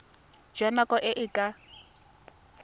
jwa nako e e ka